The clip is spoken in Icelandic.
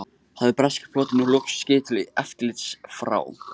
Hafði breski flotinn nú loks skip til eftirlits frá